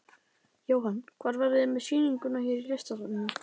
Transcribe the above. Jóhann: Hvar verðið þið með sýninguna hér í Listasafninu?